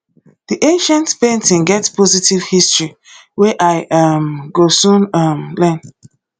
this ancient painting get positive history wey i um go soon um learn